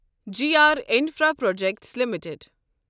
G R infraprojects limited